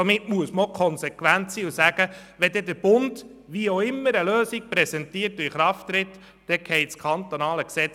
Somit muss man konsequent sein und sagen, dass das kantonale Gesetz wegfällt, sobald der Bund eine Lösung präsentiert und in Kraft setzt.